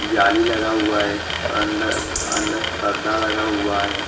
जाली लगा हुआ है और अंदर अंदर पर्दा लगा हुआ है।